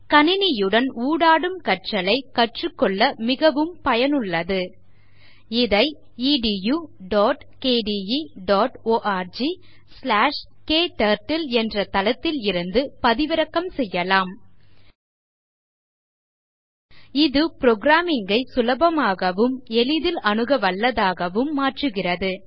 கணினியுடன் ஊடாடும் கற்றல் ஐ கற்றுக்கொள்ள மிகவும் பயனுள்ளது இதை httpedukdeorgkturtle என்ற தளத்தில் இருந்து பதிவிறக்கம் செய்யலாம் இது programming ஐ சுலபமாகவும் எளிதில் அணுக வல்லதாகவும் மாற்றுகிறது